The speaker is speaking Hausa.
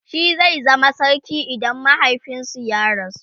shi zai zama sarki idan mahaifinsu ya rasu